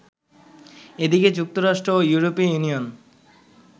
এদিকে, যুক্তরাষ্ট্র ও ইউরোপীয় ইউনিয়ন